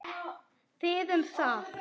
Þið um það!